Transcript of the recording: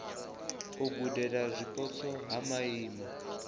u gudela zwipotso ha maimo